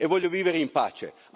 Aiutateci, grazie.